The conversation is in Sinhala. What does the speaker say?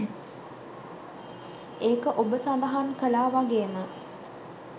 ඒක ඔබ සඳහන් කළා වගේම